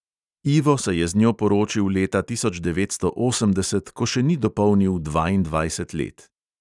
Ivo se je z njo poročil leta tisoč devetsto osemdeset, ko še ni dopolnil dvaindvajset let.